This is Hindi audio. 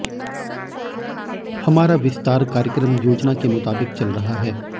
हमारा विस्तार कार्यक्रम योजना के मुताबिक चल रहा है